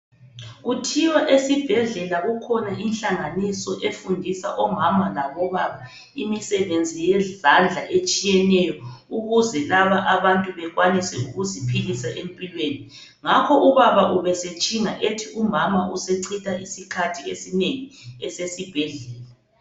Kuthiwa esibhedlela kukhona inhlanganiso efundisa omama labobaba imisebenzi yezandla, etshiyeneyo ukuze laba abantu bekwanise ukuziphilisa empilweni. Ngakho ubaba ubesetshinga ethi umama usechitha isikhathi esinengi esesibhedlela.